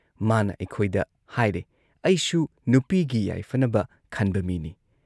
ꯃꯥꯅ ꯑꯩꯩꯈꯣꯏꯗ ꯍꯥꯏꯔꯩ‑ "ꯑꯩꯁꯨ ꯅꯨꯄꯤꯒꯤ ꯌꯥꯏꯐꯅꯕ ꯈꯟꯕ ꯃꯤꯅꯤ ꯫